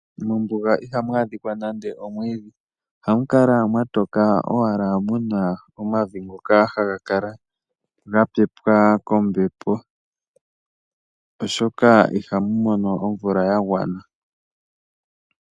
Mombuga ihamu adhika nande omwiidhi . Ohamu kala mwa toka owala muna omavi ngoka haga kala ga pepwa kombepo, oshoka ihamu mono omvula ya gwana .